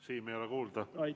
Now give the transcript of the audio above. Siim, ei ole kuulda!